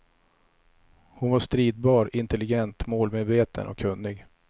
Hon var stridbar, intelligent, målmedveten och kunnig.